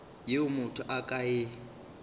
yeo motho a ka e